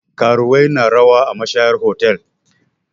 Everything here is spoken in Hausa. Karuwai na rawa a mashayar otal.